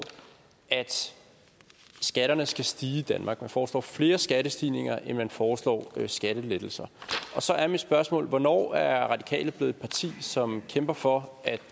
at skatterne skal stige i danmark man foreslår flere skattestigninger end man foreslår skattelettelser og så er mit spørgsmål hvornår er radikale blevet et parti som kæmper for at